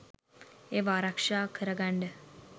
ඒවා ආරක්ෂා කරගන්ඩ